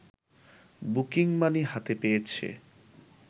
booking money হাতে পেয়েছে